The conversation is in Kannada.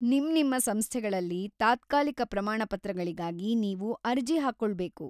ನಿಮ್ನಿಮ್ಮ ಸಂಸ್ಥೆಗಳಲ್ಲಿ ತಾತ್ಕಾಲಿಕ ಪ್ರಮಾಣಪತ್ರಗಳಿಗಾಗಿ ನೀವು ಅರ್ಜಿ ಹಾಕ್ಕೊಳ್ಬೇಕು.